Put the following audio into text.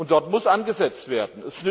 Dort muss angesetzt werden.